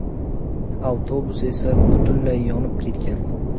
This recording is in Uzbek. Avtobus esa butunlay yonib ketgan.